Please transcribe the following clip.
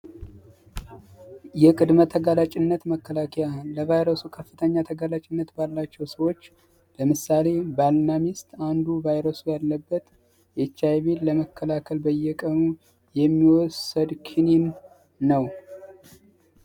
መጠቀምነት መከላከያ ቫይረሱ ከፍተኛ ባላቸው ሰዎች አንዱ ቫይረሱ ያለበት የኤች አይ ቪ ለመከላከል በየቀኑ የሚወሰድ ክኒን ነው